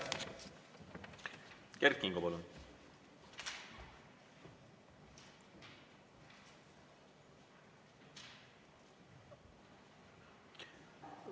Kert Kingo, palun!